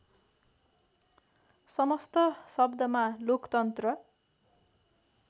समस्त शब्दमा लोकतन्त्र